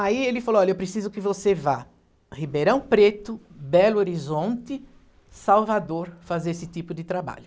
Aí ele falou, olha, eu preciso que você vá a Ribeirão Preto, Belo Horizonte, Salvador, fazer esse tipo de trabalho.